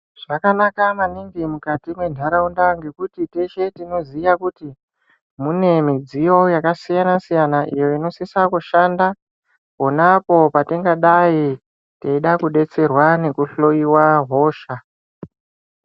Zvakanaka maningi mukati mentaraunda ngekuti teshe tinoziya kuti mune midziyo yakasiyana-siyana, iyo inosise kushanda, pona apo patingadai teida kudetserwa ngekuhloiwa hosha.